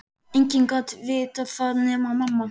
Enginn gat vitað það nema mamma.